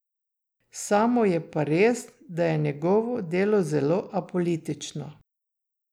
Samo je pa res, da je njegovo delo zelo apolitično.